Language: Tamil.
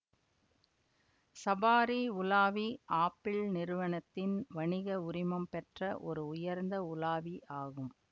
சபாரி உலாவி ஆப்பிள் நிறுவனத்தின் வணிக உரிமம் பெற்ற ஒரு உயர்ந்த உலாவி ஆகும்